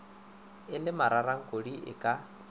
e le mararankodi e ka